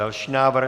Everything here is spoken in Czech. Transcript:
Další návrh.